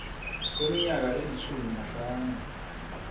kweminyaka elitjhumi nahlanu